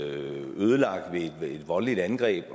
ødelagt ved et voldeligt angreb